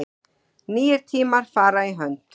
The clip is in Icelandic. Nýir tímar fara í hönd